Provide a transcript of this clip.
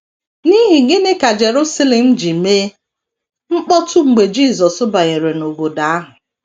N’ihi gịnị ka Jerusalem ji mee mkpọtụ mgbe Jisọs banyere n’obodo ahụ?